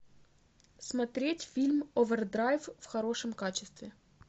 смотреть фильм овердрайв в хорошем качестве